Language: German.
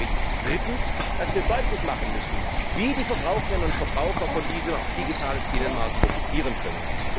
Deswegen glaube ich drittens, dass wir deutlich machen müssen, wie die Verbraucherinnen und Verbraucher von diesem digitalen Binnenmarkt profitieren können.